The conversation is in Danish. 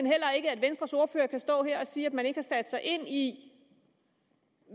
heller ikke at venstres ordfører kan stå her og sige at man ikke har sat sig ind i